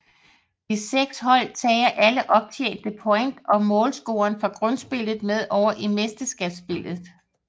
De seks hold tager alle optjente point og målscoren fra Grundspillet med over i Mesterskabsspillet